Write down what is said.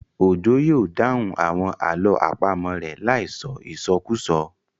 Òjó yóò dáhùn àwọn àlọ́ àpamọ̀ rẹ̀ láì sọ ìsọkúsọ